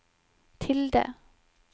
tilde